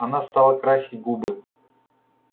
она стала красить губы